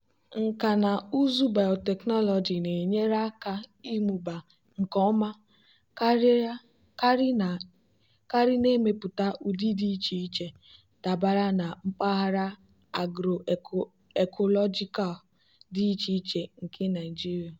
nkà na ụzụ bayotechnology na-enyere aka ịmụba nke ọma karị na-emepụta ụdị dị iche iche dabara na mpaghara agro-ecological dị iche iche nke nigeria.